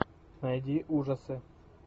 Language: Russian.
найди ужасы